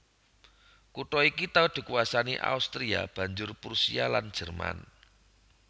Kutha iki tau dikuwasani Austria banjur Prusia lan Jerman